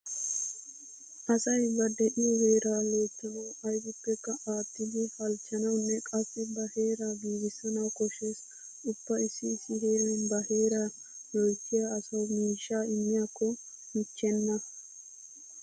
Asay ba de'iyo heeraa loyttanawu aybippekka aattidi halchchanawunne qassi ba heeraa giigissanawu koshshees. Ubba issi issi heeran ba heeraa loyttiya asawu miishshaa immiyakko michchenna.